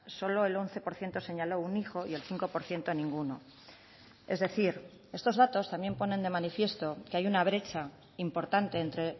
solo el once por ciento señaló un hijo y el cinco por ciento ninguno es decir estos datos también ponen de manifiesto que hay una brecha importante entre